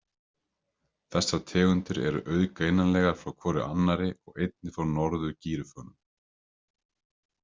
Þessar tegundir eru auðgreinanlegar frá hvorri annarri og einnig frá norður-gíröffunum.